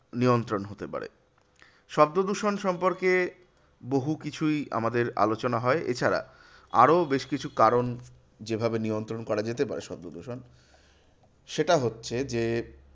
নিয়ন্ত্রণ হতে পারে। শব্দদূষণ সম্পর্কে বহু কিছুই আমাদের আলোচনা হয়। এছাড়া আরো বেশকিছু কারণ যেভাবে নিয়ন্ত্রণ করা যেতে পারে শব্দদূষণ। সেটা হচ্ছে যে,